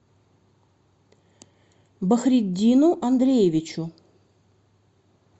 бахриддину андреевичу